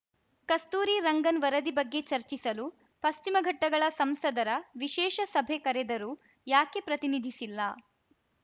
ಕಸ್ತೂರಿ ರಂಗನ್‌ ವರದಿ ಬಗ್ಗೆ ಚರ್ಚಿಸಲು ಪಶ್ಚಿಮ ಘಟ್ಟಗಳ ಸಂಸದರ ವಿಶೇಷ ಸಭೆ ಕರೆದರೂ ಯಾಕೆ ಪ್ರತಿನಿಧಿಸಿಲ್ಲ